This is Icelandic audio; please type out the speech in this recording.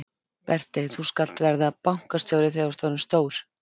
Berti þú skalt verða bankastjóri þegar þú ert orðinn stór!